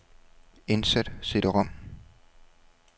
Indsæt cd-rom.